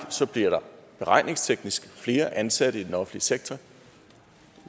bliver der beregningsteknisk flere ansatte i den offentlige sektor